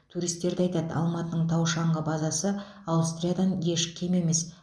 туристер де айтады алматының тау шаңғы базасы аустриядан еш кем емес